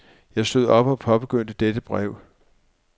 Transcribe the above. Jeg stod op og påbegyndte dette brev.